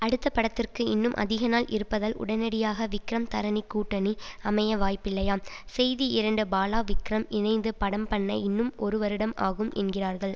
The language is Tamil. அடுத்தப்படத்திற்கு இன்னும் அதிகநாள் இருப்பதால் உடனடியாக விக்ரம் தரணி கூட்டணி அமைய வாய்ப்பில்லையாம் செய்தி இரண்டு பாலா விக்ரம் இணைந்து படம் பண்ண இன்னும் ஒரு வருடம் ஆகும் என்கிறார்கள்